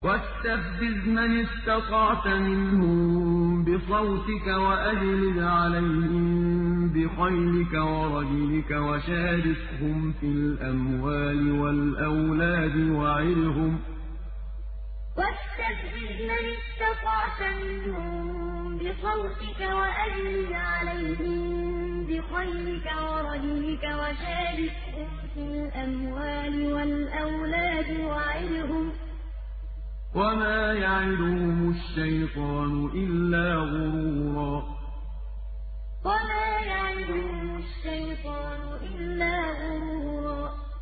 وَاسْتَفْزِزْ مَنِ اسْتَطَعْتَ مِنْهُم بِصَوْتِكَ وَأَجْلِبْ عَلَيْهِم بِخَيْلِكَ وَرَجِلِكَ وَشَارِكْهُمْ فِي الْأَمْوَالِ وَالْأَوْلَادِ وَعِدْهُمْ ۚ وَمَا يَعِدُهُمُ الشَّيْطَانُ إِلَّا غُرُورًا وَاسْتَفْزِزْ مَنِ اسْتَطَعْتَ مِنْهُم بِصَوْتِكَ وَأَجْلِبْ عَلَيْهِم بِخَيْلِكَ وَرَجِلِكَ وَشَارِكْهُمْ فِي الْأَمْوَالِ وَالْأَوْلَادِ وَعِدْهُمْ ۚ وَمَا يَعِدُهُمُ الشَّيْطَانُ إِلَّا غُرُورًا